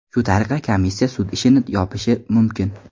Shu tariqa komissiya sud ishini yopishi mumkin.